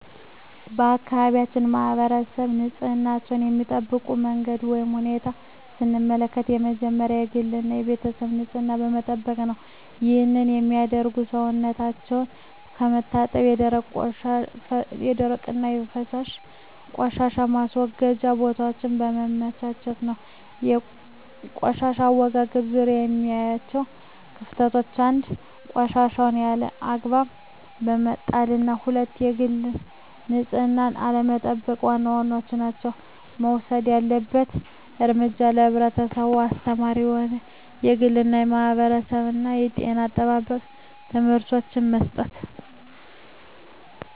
የአካባቢያችን ማህበረሰብ ንፅህናቸዉን የሚጠብቁበት መንገድ ወይም ሁኔታን ስንመለከት የመጀመሪያዉ የግል እና የቤተሰባቸዉን ንፅህና በመጠበቅ ነዉ ይህንንም የሚያደርጉት ሰዉነታቸዉን በመታጠብ የደረቅና የፈሳሽ ቆሻሻ ማስወገጃ ቦታወችን በማመቻቸት ነዉ። በቆሻሻ አወጋገድ ዙሪያ የማያቸዉ ክፍተቶች፦ 1. ቆሻሻወችን ያለ አግባብ በመጣልና 2. የግል ንፅህናን አለመጠቅ ዋና ዋናወቹ ናቸዉ። መወሰድ ያለበት እርምጃ ለህብረተሰቡ አስተማሪ የሆኑ የግልና የማህበረሰብ የጤና አጠባበቅ ትምህርቶችን መስጠት።